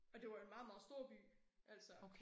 Og det var jo en meget meget stor by altså